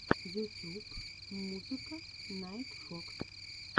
ютюб музыка найтфокс